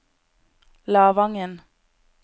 Lavangen